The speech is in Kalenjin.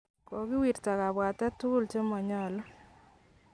Kakowirta kabwatet tugul chemonyolu.